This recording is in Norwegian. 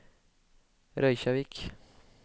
Reykjavík